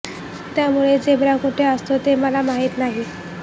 त्यामुळे झेब्रा कुठे असतो ते मला माहित नाही